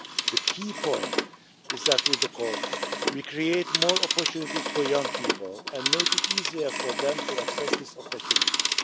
The key point is that with the Corps we create more opportunities for young people and make it easier for them to access these opportunities.